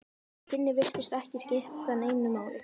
Þau kynni virtust ekki skipta neinu máli.